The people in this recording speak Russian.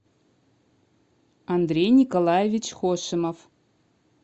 андрей николаевич хошимов